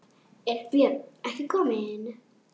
Er Björn ekki kominn?